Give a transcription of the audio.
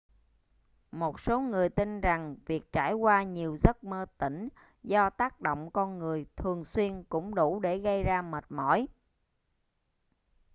một số người tin rằng việc trải qua nhiều giấc mơ tỉnh do tác động con người thường xuyên cũng đủ để gây ra mệt mỏi